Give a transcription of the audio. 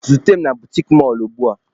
Zute m na butiki mọlụ ugbua!